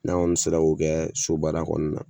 N'an kɔni sera k'o kɛ so baara kɔnɔna na